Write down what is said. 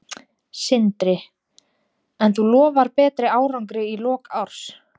Sindri: En þú lofar betri árangri í lok árs?